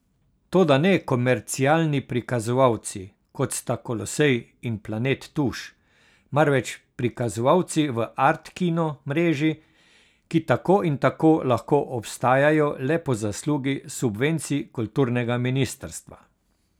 Toda ne komercialni prikazovalci, kot sta Kolosej in Planet Tuš, marveč prikazovalci v Art kino mreži, ki tako in tako lahko obstajajo le po zaslugi subvencij kulturnega ministrstva.